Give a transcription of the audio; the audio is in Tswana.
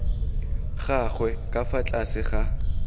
gagwe ka fa tlase ga